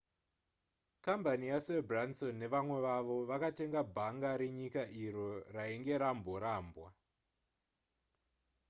kambani yasir branson nevamwe vavo vakatenga bhanga renyika iro rainge ramborambwa